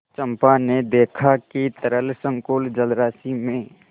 चंपा ने देखा कि तरल संकुल जलराशि में